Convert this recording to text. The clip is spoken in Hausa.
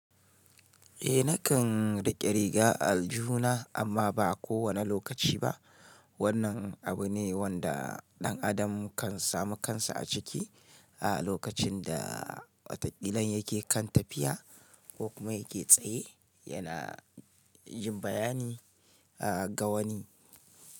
Eh nakan riƙe riga aljihuna amma ba kowane lokaci ba. Wannan abu ne wanda ɗan adam kan samu kansa a ciki a lokacin da wata ƙilan yake kan tafiya ko kuma yake tsaye yana jin bayani ga wani.